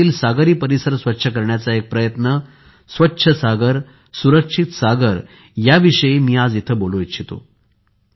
देशातील सागरी परिसर स्वच्छ करण्याचा एक प्रयत्न स्वच्छ सागर सुरक्षित सागर या विषयी मी आज इथे बोलू इच्छितो